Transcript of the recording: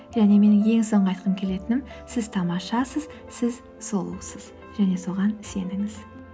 және менің ең соңғы айтқым келетінім сіз тамашасыз сіз сұлусыз және соған сеніңіз